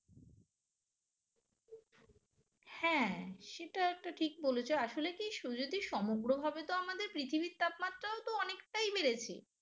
হ্যাঁ সেটা একটা ঠিক বলেছ আসলে কি সমগ্রভাবে তো আমাদের পৃথিবীর তাপমাত্রাও তো অনেকটাই বেড়েছে